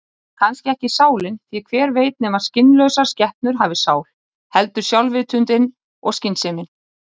Kannski ekki sálin, því hver veit nema skynlausar skepnur hafi sál, heldur sjálfsvitundin og skynsemin.